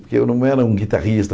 Porque eu não era um guitarrista.